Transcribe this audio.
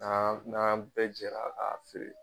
N'an n'an bɛɛ jɛra k'a feere